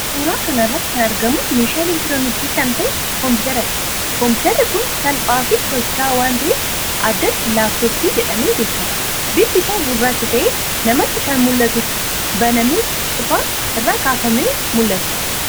Suuraa kana irratti kan argamu meeshaa elektirooniksii kan ta'e kompiwuuteradha. Kompiwuuterri kun salphaafi socho'aa waan ta'eef addatti 'laap-tooppii' jedhamee beekama. Bifti isaa gurraacha ta'ee, namatti akka mul'atutti banamee cufaa irraa kaafamee mul'ata.